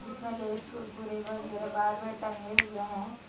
इसमें लेस कुरकुरे वगैरा बाहर में टंगे हुए हैं।